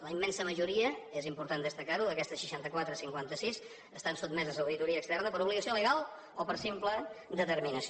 la immensa majoria és important destacarho d’aquestes seixantaquatre cinquantasis estan sotmeses a auditoria externa per obligació legal o per simple determinació